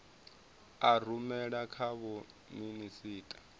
a rumela kha vho minisita